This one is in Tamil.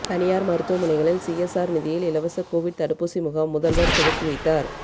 தனியார் மருத்துவமனைகளில் சிஎஸ்ஆர் நிதியில் இலவச கோவிட் தடுப்பூசி முகாம் முதல்வர் துவக்கி வைத்தார்